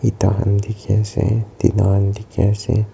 eta khan dikhi ase tina khan dikhi ase.